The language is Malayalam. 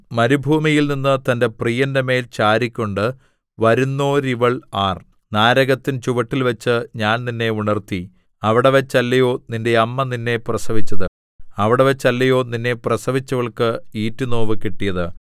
മരുഭൂമിയിൽനിന്ന് തന്റെ പ്രിയന്റെ മേൽ ചാരിക്കൊണ്ട് വരുന്നോരിവൾ ആർ നാരകത്തിൻ ചുവട്ടിൽവച്ച് ഞാൻ നിന്നെ ഉണർത്തി അവിടെവച്ചല്ലയോ നിന്റെ അമ്മ നിന്നെ പ്രസവിച്ചത് അവിടെവച്ചല്ലയോ നിന്നെ പ്രസവിച്ചവൾക്ക് ഈറ്റുനോവ് കിട്ടിയത്